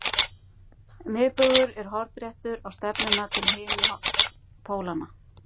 Miðbaugur er hornréttur á stefnuna til himinpólanna.